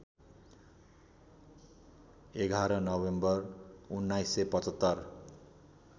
११ November १९७५